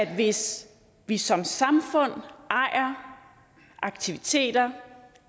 af at hvis vi som samfund ejer aktiviteter